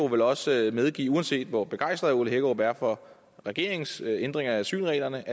vel også medgive at uanset hvor begejstret herre ole hækkerup er for regeringens ændringer af asylreglerne